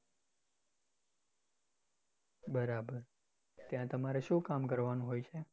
બરાબર, ત્યાં તમારે શું કામ કરવાનું હોય છે?